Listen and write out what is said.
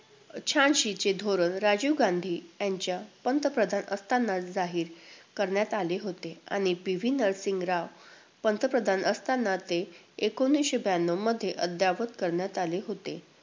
शहाऐंशीचे धोरण राजीव गांधी यांच्या पंतप्रधान असताना जाहीर करण्यात आले होते आणि PV नरसिंह राव पंतप्रधान असताना ते एकोणवीसशे ब्याण्णवमध्ये अद्ययावत करण्यात आले होते.